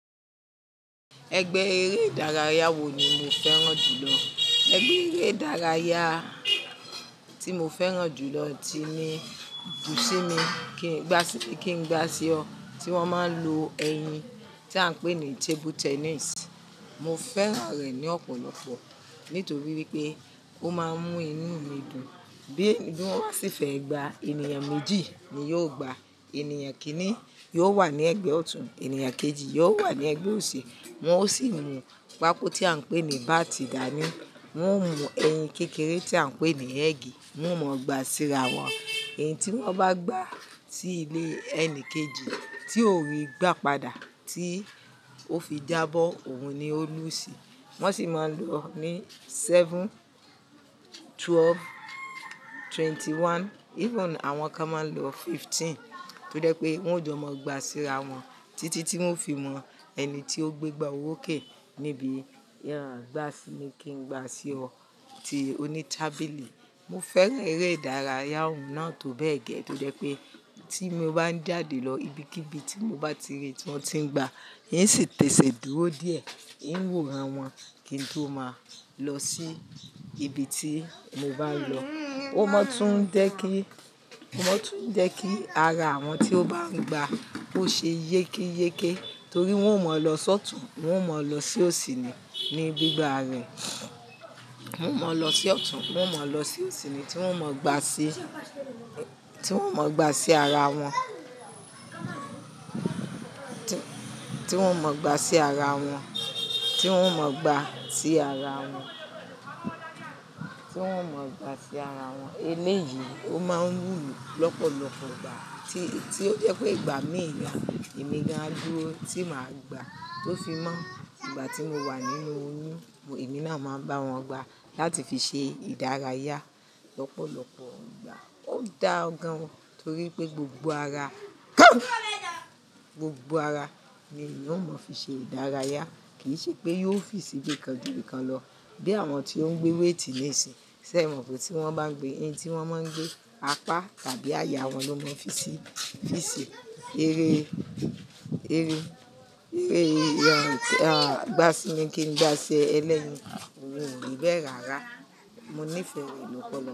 Ẹgbẹ́ eré ìdárayá wo ni mo fẹ́ràn jù lọ. Ẹgbẹ́ eré ìdárayá tí mo fẹ́ràn jù lọ ti ní bù sí mi kí n, kí n gbá ṣe ọ, tí wọ́n máa ń lo ẹyin tí à ń pè ní table tennis. Mo fẹ́ràn rẹ̀ ní ọ̀pọ̀lọpọ̀ nítorí wípé ó máa ń mú inú mi dùn. Bí i-- mo bá sì fẹ́ gba, ènìyàn méjì ni yóò gba. Ènìyàn kìn-ín ni yóò wà ní ẹgbẹ́ ọ̀tún, ènìyàn kejì yóò wà ní ẹgbẹ́ òsì. Wọn ó sì mú pákó tí à ń pè ní bátì dání. Wọ́n mú ẹyin kékeré tí à ń pè ní ẹ́gì, wọ́n mọ gbà síra wọn. Bí i-- mo bá sì fẹ́ gba, ènìyàn méjì ni yóò gba. Wọn sì máa lò ó ní seven, twelve, twenty one, even àwọn kan máa ń lo fifteen. Tó jẹ́ pé wọ́n ò jọ mọ gbà síra wọn títí tí wọ́n fi mọ ẹni tí ó gbé gbá oró ké níbi gbà sí mi kí n gbá ṣe ọ tí oní tábìlì. Mo fẹ́ràn eré ìdárayá òun náà tó bẹ́ẹ̀ gẹ́ tó jẹ́ pé tí mo bá ń jáde lọ ibikíbi tí mo bá ti rí tí wọ́n ti ń gba, n yí sì tẹ̀sìdúró díẹ̀, n yóò rán wọn kí n tó máa lọ sí ibi tí mo bá ń lọ. Ó máa tún jẹ́ kí, ó máa tún jẹ́ kí ara àwọn tí ó bá ń gba ó ṣe yékéyéké torí wọ́n ò mọ lọ sọ́tùn, wọ́n ò mọ lọ sí òsì ni, ní gbígba rẹ̀. Wọn ò mọ lọ sí ọ̀tún, wọ́n ò mọ lọ sí òsì ni tí wọ́n kò mọ gbà sí, tí wọ́n kò mọ gbà sí ara wọn. Tí wọ́n mọ gbà sí ara wọn, tí wọ́n mọ gbà sí ara wọn. Tí wọ́n mọ gbà sí ara wọn. Eléyìí, ó máa ń wumi lọ́pọ̀lọpọ̀ ìgbà tí, tí ó jẹ́ pé ìgbà mí ì gan, èmi ni á dúró tí màá gbà tó fi mọ́. Ìgbà tí mo wà nínú oyún, èmi náà máa ń bá wọn gba láti fi ṣe ìdárayá lọ́pọ̀lọpọ̀ ìgbà. Ó dá ọ gan ni torí pé gbogbo ara, gbogbo ara ni èyan ò mọ fi ṣe ìdárayá kì í ṣe pé yóò fi síbi kan jú bí kan lọ bí àwọn tí ó ń gbé wéigtì níìsín. Sẹ́ ì mọ̀ pé tí wọ́n bá ń gbé, ẹyin tí wọ́n máa ń gbé, apá tàbí àyà wọn ló máa ń fi sí, fi ṣe eré, ẹrẹ́, ìràgbà sí mi kí n gbá ṣe ẹlẹ́yin. Ohun ò ri bẹ́ ràrá. Mo nífẹ̀ẹ́ rẹ̀ lọ́pọ̀lọpọ̀.